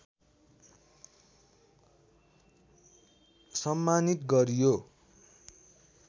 सम्मानित गरियो